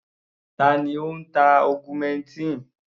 Ta ni ó ń ta augmentin?